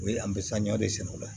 O ye an bɛ sanɲɔ de sɛnɛ o la